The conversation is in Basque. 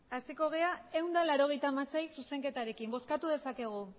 hasiko gara ehun eta laurogeita hamasei zuzenketarekin bozkatu dezakegu